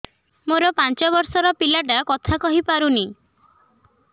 ମୋର ପାଞ୍ଚ ଵର୍ଷ ର ପିଲା ଟା କଥା କହି ପାରୁନି